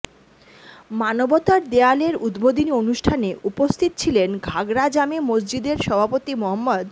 মানবতার দেয়াল এর উদ্বোধনী অনুষ্ঠানে উপস্থিত ছিলেন ঘাগড়া জামে মসজিদের সভাপতি মো